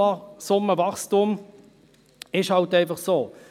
Das Lohnsummenwachstum ist halt einfach so: